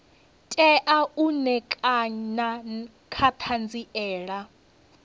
tea u ṋekana nga ṱhanziela